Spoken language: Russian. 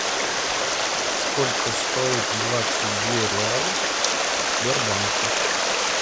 сколько стоит двадцать две реалов в сбербанке